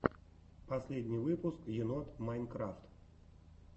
последний выпуск енот майнкрафт